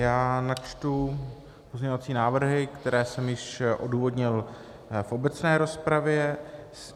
Já načtu pozměňovací návrhy, které jsem již odůvodnil v obecné rozpravě.